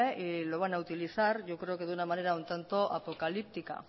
y lo van a utilizar yo creo que de una manera un tanto apocalíptica